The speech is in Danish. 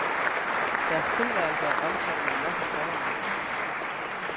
Deres tilværelse er omtumlet nok i forvejen.